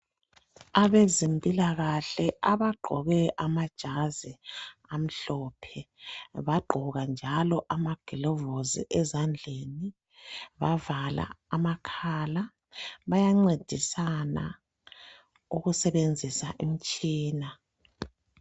abezempilakahle abagqoke amajazi amhlophe bagqoka njalo amagulovisi ezandleni bavala amakhala bayancedisana ukusebenzisa umtshina